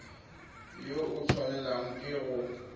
yo o tshwanelang ke go